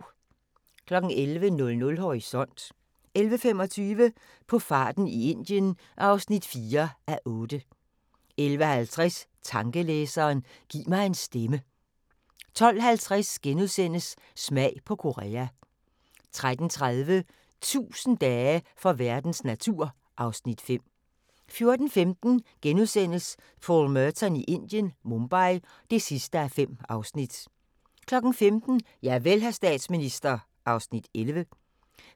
11:00: Horisont 11:25: På farten i Indien (4:8) 11:50: Tankelæseren – giv mig en stemme 12:50: Smag på Korea * 13:30: 1000 dage for verdens natur (Afs. 5) 14:15: Paul Merton i Indien - Mumbai (5:5)* 15:00: Javel, hr. statsminister (11:16)